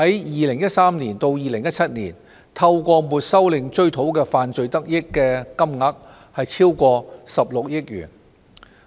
2013年至2017年間，當局透過沒收令追討的犯罪得益金額超過16億元。